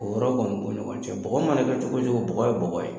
O yɔrɔ kɔni b'o ni ɲɔgɔn cɛ, bɔgɔ mana kɛ cogo o cogo, bɔgɔ ye bɔgɔ ye.